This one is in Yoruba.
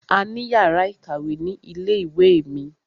A ní yàrá ìkàwé ni ilé ìwé mi.